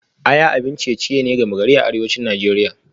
Aya abin ciye-ciye ne gama gari a arewacin Najeriya